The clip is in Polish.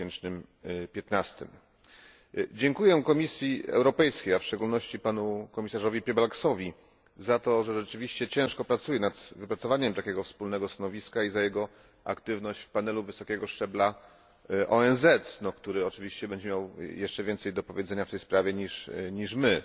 2015. Dziękuję Komisji Europejskiej, a w szczególności panu komisarzowi Piebalgsowi, za to, że rzeczywiście ciężko pracuje nad wypracowaniem takiego wspólnego stanowiska i za jego aktywność w panelu wysokiego szczebla ONZ, który oczywiście będzie miał jeszcze więcej do powiedzenia w tej sprawie niż my.